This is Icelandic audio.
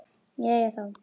Jæja, þá.